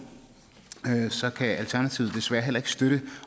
kan alternativet desværre heller ikke støtte